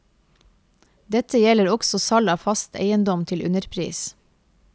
Dette gjelder også salg av fast eiendom til underpris.